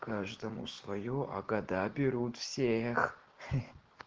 каждому своё а года берут всех